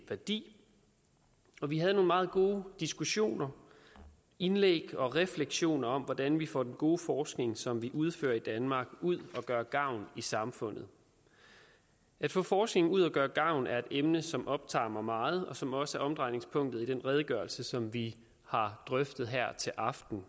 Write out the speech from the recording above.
værdi og vi havde nogle meget gode diskussioner indlæg og refleksioner om hvordan vi får den gode forskning som vi udfører i danmark ud at gøre gavn i samfundet at få forskning ud at gøre gavn er et emne som optager mig meget og som også er omdrejningspunktet i den redegørelse som vi har drøftet her til aften